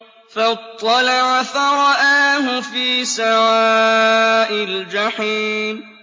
فَاطَّلَعَ فَرَآهُ فِي سَوَاءِ الْجَحِيمِ